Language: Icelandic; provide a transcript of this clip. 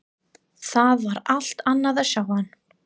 Það var allt annað að sjá hann.